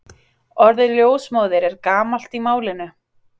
Orðið ljósmóðir er gamalt í málinu.